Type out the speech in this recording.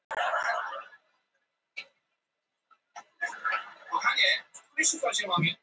Ég veit það ekki, elskan, viltu ekki spenna á þig beltið?